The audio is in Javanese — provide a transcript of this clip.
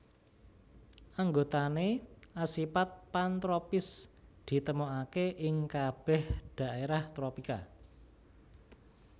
Anggotané asipat pantropis ditemokaké ing kabèh dhaérah tropika